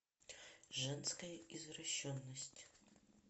женская извращенность